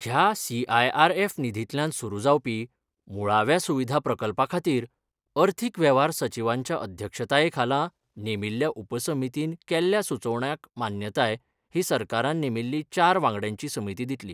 ह्या सीआयआरएफ निधींतल्यान सुरू जावपी मुळाव्या सुविधा प्रकल्पा खातीर अर्थीक वेव्हार सचीवांच्या अध्यक्षताये खाला नेमिल्ल्या उपसमितीन केल्ल्या सुचोवण्याक मान्यताय ही सरकारान नेमिल्ली चार वांगड्यांची समिती दितली.